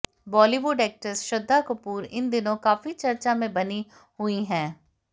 Bollywood actress Shraddha Kapoor इन दिनों काफी चर्चा में बनी हुई है